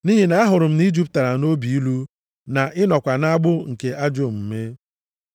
Nʼihi na ahụrụ m na ị jupụtara nʼobi ilu na ị nọkwa nʼagbụ nke ajọ omume.”